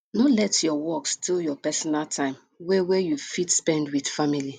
no let your work steal your personal time wey wey you fit spend with family